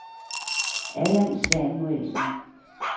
Allan Samuelsen